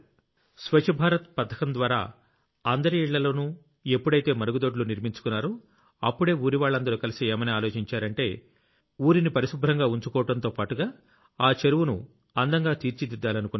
స్వచ్ఛ భారత్ పథకం ద్వారా అందరి ఇళ్లలోనూ మరుగుదొడ్లు నిర్మించుకున్నారో అప్పుడే ఊరివాళ్లందరూ కలిసి ఏమని ఆలోచించారంటే మనం ఊరిని పరిశుభ్రంగా ఉంచుకోవడంతోపాటుగా దాన్ని అందంగా తీర్చిదిద్దాలనుకున్నారు